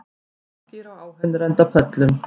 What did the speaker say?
Margir á áheyrendapöllum